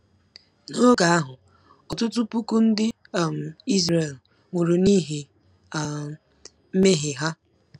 N'oge ahụ, ọtụtụ puku ndị um Izrel nwụrụ n'ihi um mmehie ha.